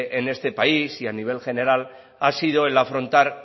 en este país y a nivel general ha sido el afrontar